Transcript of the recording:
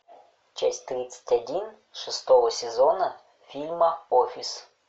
часть тридцать один шестого сезона фильма офис